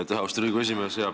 Aitäh, austatud Riigikogu esimees!